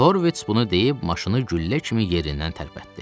Horvits bunu deyib maşını güllə kimi yerindən tərpətdi.